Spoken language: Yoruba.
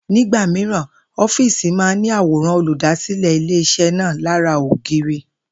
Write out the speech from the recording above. Nígbà mìíràn, ó̩fíìsì máa n ní àwòrán olùdásílè̩ ilé-is̩é̩ náà lára ògiri